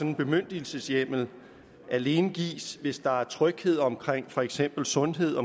en bemyndigelseshjemmel alene gives hvis der er tryghed omkring for eksempel sundhed